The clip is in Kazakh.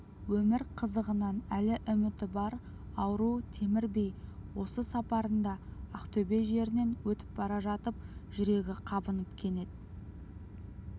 өмір қызығынан әлі үміті бар ауру темір би осы сапарында ақтөбе жерінен өтіп бара жатып жүрегі қабынып кенет